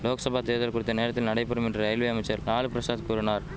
லோக்சபா தேர்தல் குறித்த நேரத்தில் நடைபெறும் என்று ரயில்வே அமைச்சர் லாலு பிரசாத் கூறினார்